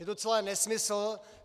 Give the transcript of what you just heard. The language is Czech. Je to celé nesmysl.